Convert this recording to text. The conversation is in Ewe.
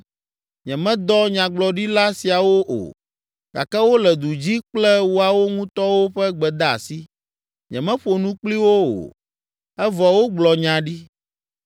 Nyemedɔ nyagblɔɖila siawo o, gake wole du dzi kple woawo ŋutɔwo ƒe gbedeasi. Nyemeƒo nu kpli wo o, evɔ wogblɔ nya ɖi.